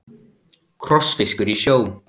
Krossfiskur í sjó.